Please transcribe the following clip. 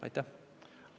Aitäh!